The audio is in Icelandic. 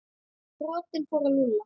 Boltinn fór að rúlla.